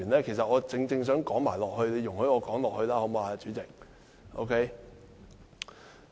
其實，我正正想說下去，你讓我說下去好嗎，主席？